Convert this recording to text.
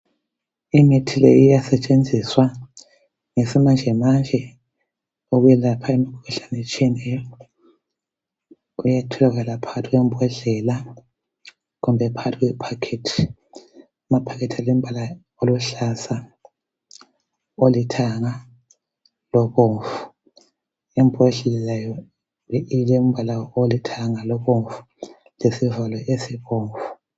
Imithi leyi iyasetshenziswa ngesimanjemanje ukwelapha imikhuhlane etshiyeneyo Kuyatholakala phakathi kwembodlela kumbe phakathi kwe packet Amaphakethi alembala eluhlaza, olithanga lobomvu. Imbodlela ilembala olithanga, lobomvu lesivalo esibomvu